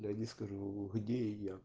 я не скажу где я